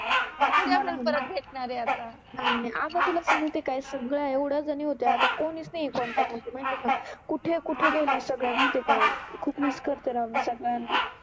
ते थोडि आपल्याला परत भेटनार आहे आता. नाइ नाइ, आता तुला सांगते काय सगळ्या एवढ्या जणि होत्या आता कोणिच नाहि आहे कॉन्टॅक्ट मधे माहिति आहे का, कुठे कुठे गेल्या सगळ्या माहिति आहे का, खुप मिस करते मि सगळ्याना.